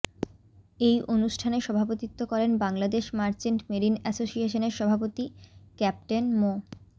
এই অনুষ্ঠানে সভাপতিত্ব করেন বাংলাদেশ মার্চেন্ট মেরিন অ্যাসোসিয়েশনের সভাপতি ক্যাপ্টেন মো